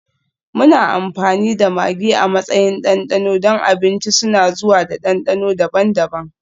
Muna amfani da maggi a matsayin ɗanɗano don abinci, suna zuwa da dandano daban-daban.